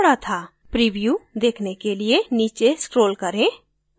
preview देखने के लिए नीचे scroll करें